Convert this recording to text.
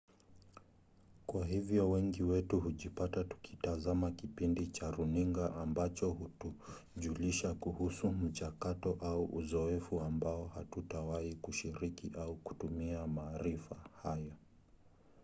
kwa hivyo wengi wetu hujipata tukitazama kipindi cha runinga ambacho hutujulisha kuhusu mchakato au uzoefu ambao hatutawahi kushiriki au kutumia maarifa hayo